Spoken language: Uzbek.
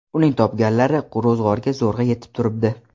Uning topganlari ro‘zg‘orga zo‘rg‘a yetib turibdi.